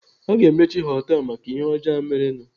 Aga emechi họtelu maka ihe ọjọọ a merenụ?